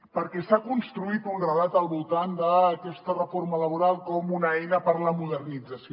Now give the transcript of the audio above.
perquè s’ha construït un relat al voltant d’aquesta reforma laboral com una eina per a la modernització